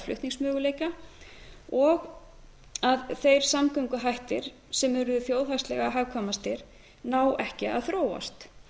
flutningsmöguleika og að þeir samgönguhættir sem eru þjóðhagslega hagkvæmastir ná ekki að þróast